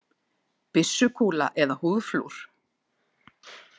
Byssukúla eða húðflúr.